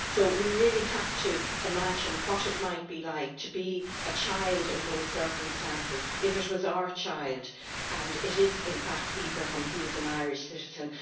We really have to imagine what it might be like to be a child in those circumstances, if it were our child and it is, in fact, as Ibrahim is an Irish citizen.